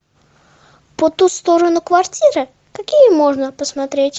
по ту сторону квартиры какие можно посмотреть